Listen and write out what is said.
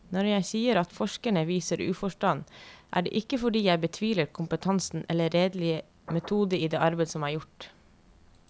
Når jeg sier at forskerne viser uforstand, er det ikke fordi jeg betviler kompetansen eller redelig metode i det arbeid som er gjort.